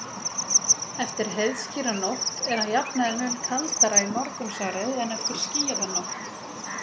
Eftir heiðskíra nótt er að jafnaði mun kaldara í morgunsárið en eftir skýjaða nótt.